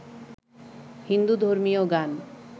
হিন্দু ধর্মীয় গান